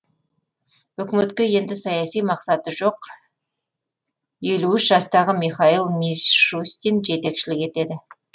үкіметке енді саяси мақсаты жоқ елу үш жастағы михаил мишустин жетекшілік етеді